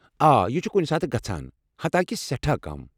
آ، یہ چھ کُنہ ساتہٕ گژھان، حتاکہ سیٹھاہ کم۔